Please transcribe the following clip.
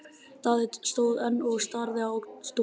Daði stóð enn og starði á stúlkuna.